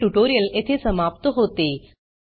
हे ट्यूटोरियल येथे समाप्त होते